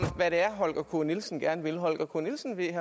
hvad det er holger k nielsen gerne vil herre holger k nielsen vil